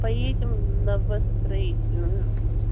поедем новостроительную